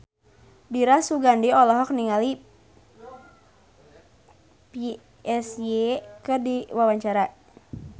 Dira Sugandi olohok ningali Psy keur diwawancara